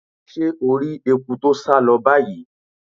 Se o ri eku to sa lo bayii?